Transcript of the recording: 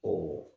Ɔ